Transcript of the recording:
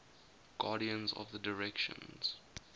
guardians of the directions